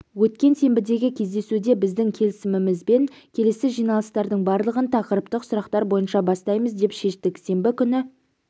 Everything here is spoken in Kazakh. өткен сенбідегі кездесуде біздің келісімімізбен келесі жиналыстардың барлығын тақырыптық сұрақтар бойынша бастаймыз деп шештік сенбі күні